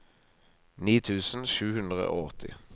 ni tusen sju hundre og åtti